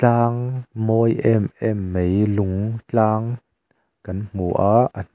tlang mawi em em mei lung tlang kan hmu a a hnuai--